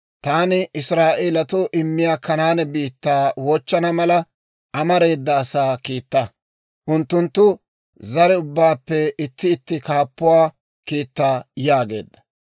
«Taani Israa'eelatoo immiyaa Kanaane biittaa wochchana mala, amareeda asaa kiitta; unttunttu zare ubbaappe itti itti kaappuwaa kiitta» yaageedda.